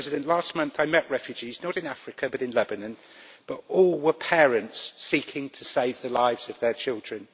Last month I met refugees, not in Africa but in Lebanon, but all were parents seeking to save the lives of their children.